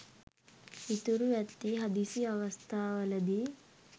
ඉතුරු ඇත්තේ හදිසි අවස්ථාවලදී